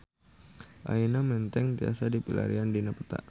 Ayeuna Menteng tiasa dipilarian dina peta